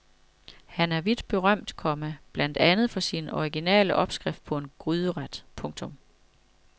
Han er vidt berømt, komma blandt andet for sin originale opskrift på en gryderet. punktum